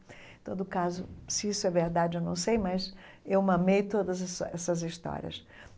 Em todo caso, se isso é verdade, eu não sei, mas eu mamei todas essas essas histórias.